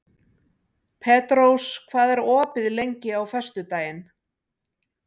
Petrós, hvað er opið lengi á föstudaginn?